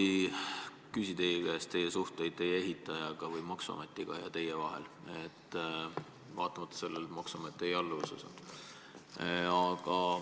Ma ei küsi teie käest, millised on teie suhted teie ehitaja või maksuametiga, vaatamata sellele, et maksuamet on teie alluvuses.